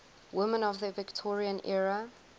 women of the victorian era